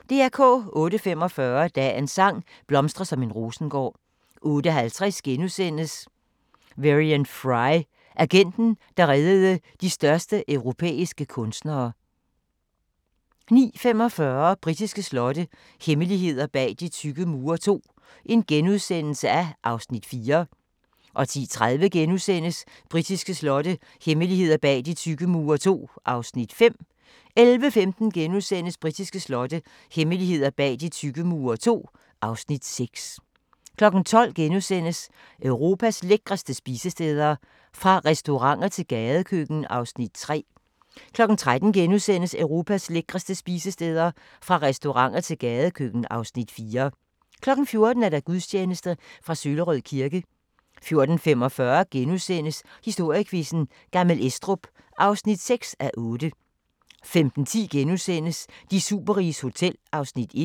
08:45: Dagens sang: Blomstre som en rosengård 08:50: Varian Fry: Agenten, der reddede de største europæiske kunstnere * 09:45: Britiske slotte – hemmeligheder bag de tykke mure II (Afs. 4)* 10:30: Britiske slotte – hemmeligheder bag de tykke mure II (Afs. 5)* 11:15: Britiske slotte – hemmeligheder bag de tykke mure II (Afs. 6)* 12:00: Europas lækreste spisesteder – fra restauranter til gadekøkken (Afs. 3)* 13:00: Europas lækreste spisesteder – fra restauranter til gadekøkken (Afs. 4)* 14:00: Gudstjeneste fra Søllerød kirke 14:45: Historiequizzen: Gammel Estrup (6:8)* 15:10: De superriges hotel (1:2)*